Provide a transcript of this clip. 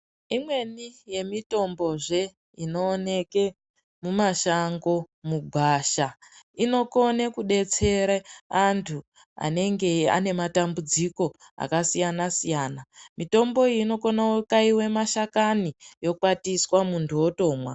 Imweni yemitombozve inooneke mumashango mugwasha. Inokone kudetsere antu anenge ane matambudziko akasiyana-siyana. Mitombo iyi inokone kukaiwe mashakani, okwariswa, muntu otomwa.